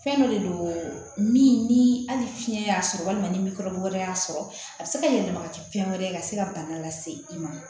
Fɛn dɔ de don min ni hali fiɲɛ y'a sɔrɔ walima ni wɛrɛ y'a sɔrɔ a bi se ka yɛlɛma ka kɛ fɛn wɛrɛ ye ka se ka bana lase i ma